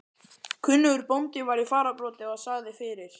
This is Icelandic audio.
Kunnugur bóndi var í fararbroddi og sagði fyrir.